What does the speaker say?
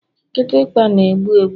Kịtịkpa na-egbu egbu